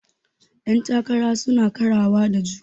Yan takara suna karawa da juna.